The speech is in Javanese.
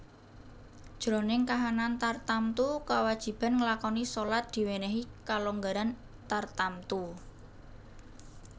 Jroning kahanan tartamtu kawajiban nglakoni shalat diwènèhi kalonggaran tartamtu